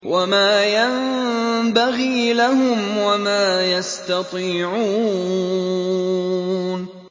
وَمَا يَنبَغِي لَهُمْ وَمَا يَسْتَطِيعُونَ